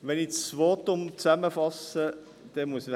Wenn ich das Votum zusammenfasse, dann muss ich sagen: